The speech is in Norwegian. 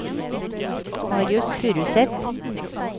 Marius Furuseth